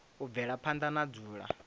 u bvela phanda na dzula